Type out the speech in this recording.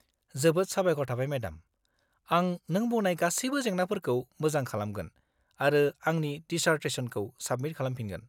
जोबोद साबायखर थाबाय मेडाम, आं नों बुंनाय गासिबो जेंनाफोरखौ मोजां खालामगोन आरो आंनि डिसार्टेसनखौ साबमिट खालामफिनगोन।